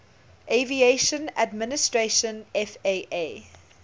aviation administration faa